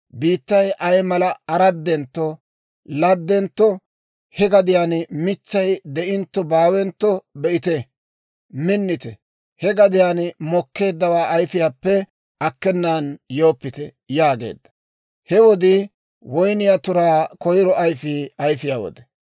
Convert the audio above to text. biittay ay mala tu'enttonttonne ladentto, he gadiyaan mitsay de'inttonne baawentto be'ite. Minnite! He gadiyaan mokkeeddawaa ayifiyaappe akkenan yooppite» yaageedda. He wodii woyniyaa turay koyiro ayfiyaa ayifiyaa wode.